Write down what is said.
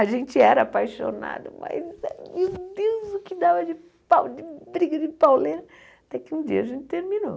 A gente era apaixonado, mas, meu Deus, o que dava de pau de briga de pauleira, até que um dia a gente terminou.